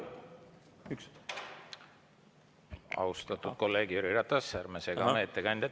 Austatud kolleeg Jüri Ratas, ärme sega ettekandjat.